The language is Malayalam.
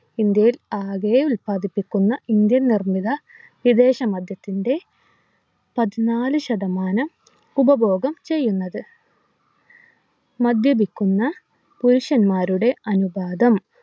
ഇന്ത്യയിൽ ആകെ ഉല്പാദിപ്പിക്കുന്ന indian നിർമിത വിദേശ മദ്യത്തിൻ്റെ പതിനാലു ശതമാനം ഉപഭോഗം ചെയ്യുന്നത് മദ്യപിക്കുന്ന പുരുഷന്മാരുടെ അനുപാതം